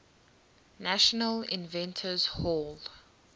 national inventors hall